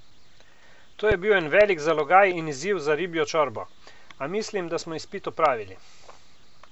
To je bil en velik zalogaj in izziv za Ribljo čorbo, a mislim, da smo izpit opravili.